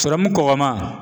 Sɔrɔmu kɔgɔma